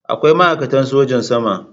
Akwai ma'aikatan sojan sama.